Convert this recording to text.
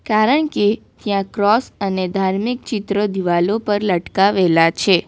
કારણ કે ત્યાં ક્રોસ અને ધાર્મિક ચિત્રો દીવાલો પર લટકાવેલા છે.